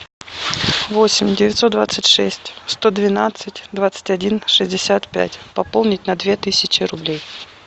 восемь девятьсот двадцать шесть сто двенадцать двадцать один шестьдесят пять пополнить на две тысячи рублей